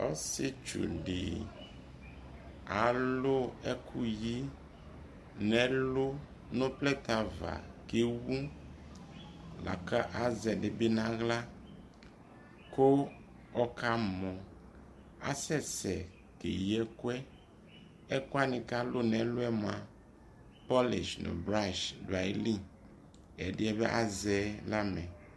Ɔsiɛtsu di alu ɛkuyi nɛlu nu plɛtɛ ava, kɛwu la ɛka azɛ ɛdi bi na ɣla ku ɔka mɔAsɛsɛ kɛyi ɛkuɛ Ɛkuwani ka lu nɛ lu yɛ mua, polish nu brash du ayi liƐdi bi azɛ lamɛ